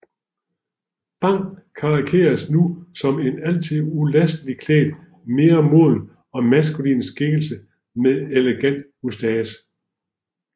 Bang karikeredes nu som en altid ulasteligt klædt mere moden og maskulin skikkelse med elegant moustache